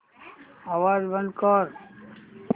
आवाज बंद कर